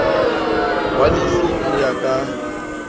wa lefi ho ya ka